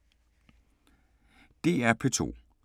DR P2